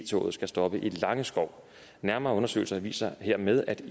toget skal stoppe i langeskov nærmere undersøgelser viser hermed at